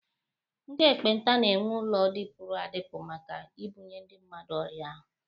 Ndị ekpenta na- enwe ụlọ dịpụrụ adịpụ maka ibunye ndị mmadụ ọrịa ahụ.